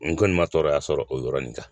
N kɔni ma tɔɔrɔya sɔrɔ o yɔrɔnin kan